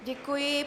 Děkuji.